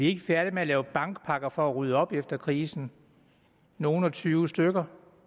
ikke færdige med at lave bankpakker for at rydde op efter krisen nogle og tyve stykker